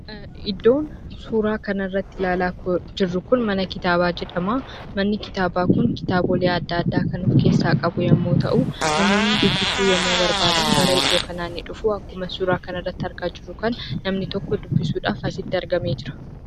Iddoon suuraa kana irratti ilaalaa jirru Kun, mana kitaabaa jedhamaa. Manni kitaaba Kun kitaabolee addaa addaa kan of keessaa qabu yemmuu ta'u , namoonni dubbisuu yemmuu barbaadan gara iddoo kanaa ni dhufuu. Akkuma suuraa kana irratti argaa jirru kana namni tokko dubbisuudhaaf asitti argamee jira.